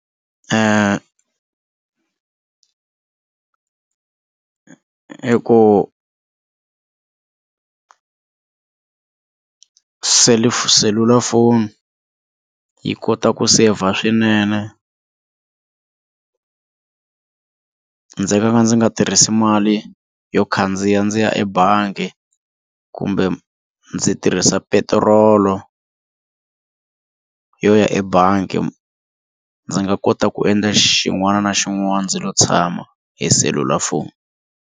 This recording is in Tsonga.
Ku cellphone selulafoni yi kota ku saver swinene ndzi nga ka ndzi nga tirhisi mali yo khandziya ndziya ebangi kumbe ndzi tirhisa petirolo yo ya ebangi ndzi nga kota ku endla xin'wana na xin'wana ndzi lo tshama hi selulafoni.